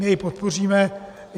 My jej podpoříme.